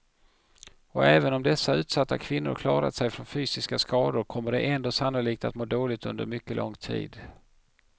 Och även om dessa utsatta kvinnor klarat sig från fysiska skador kommer de ändå sannolikt att må dåligt under mycket lång tid.